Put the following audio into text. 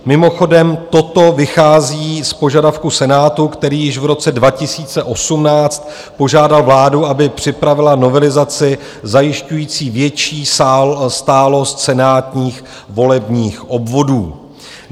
Mimochodem toto vychází z požadavku Senátu, který již v roce 2018 požádal vládu, aby připravila novelizaci zajišťující větší stálost senátních volebních obvodů.